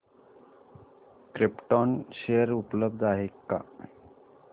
krypton share उपलब्ध आहेत का